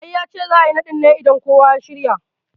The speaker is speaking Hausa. I, yace za'a yi naɗin ne idan kowa ya shirya